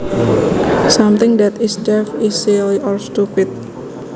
Something that is daft is silly or stupid